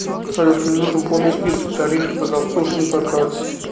салют мне нужен полный список тарифов за обслуживание по карте